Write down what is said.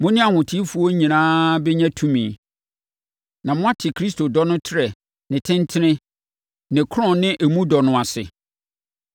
mo ne ahotefoɔ nyinaa bɛnya tumi, na moate Kristo dɔ no trɛ, ne tentene, ne korɔn ne emu dɔ no ase,